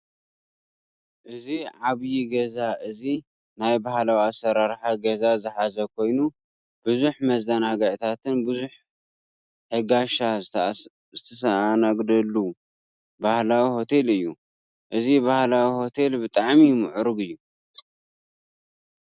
እዚ ዓብይ ገዛ እዚ ናይ ባህላዊ ኣሳራርሓ ገዛ ዝሓዘ ኮይኒ ቡዙሕ መዘናግዕታትን ቡዙሕ ሕጋሻ ዝስተኣነገደሉን ባህላዊ ሆቴል እዩ። እዚ ባህላዊ ሂቴል ብጣዕሚ ምዕሩግ እዩ።